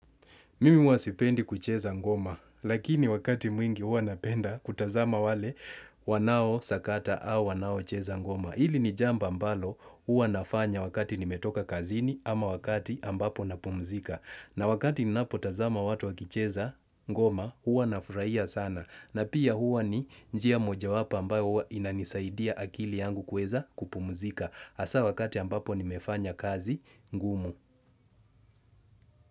Mimi huwa sipendi kucheza ngoma, lakini wakati mwingi huwa napenda kutazama wale wanao sakata au wanao cheza ngoma. Hili ni jambo ambalo huwa nafanya wakati nimetoka kazini ama wakati ambapo napumzika. Na wakati ninapo tazama watu wakicheza ngoma huwa nafurahia sana. Na pia huwa ni njia moja wapo ambayo inanisaidia akili yangu kuweza kupumzika. Hasa wakati ambapo nimefanya kazi ngumu.